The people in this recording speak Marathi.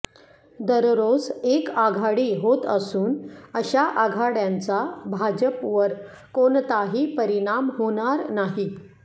दररोज एक आघाडी होत असून अशा आघाड्यांचा भाजपवर कोणताही परिणाम होणार नाही